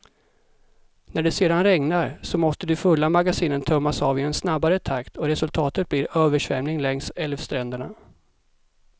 När det sedan regnar, så måste de fulla magasinen tömmas av i en snabbare takt och resultatet blir översvämning längs älvstränderna.